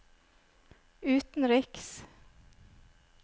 utenriks